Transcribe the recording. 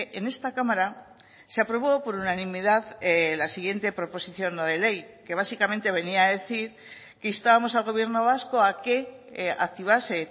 en esta cámara se aprobó por unanimidad la siguiente proposición no de ley que básicamente venía a decir que instábamos al gobierno vasco a que activase